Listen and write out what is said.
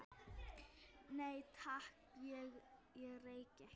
Nei, takk, ég reyki ekki